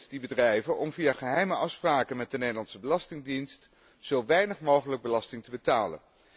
Die bedrijven doen dit om via geheime afspraken met de Nederlandse belastingdienst zo weinig mogelijk belasting te betalen.